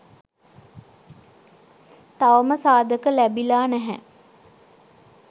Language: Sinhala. තවම සාධක ලැබිලා නැහැ